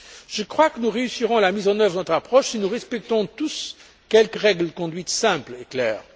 Je crois que nous réussirons la mise en œuvre de notre approche si nous respectons tous quelques règles de conduite simples et claires.